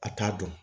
A t'a dɔn